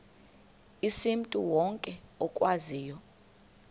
asimntu wonke okwaziyo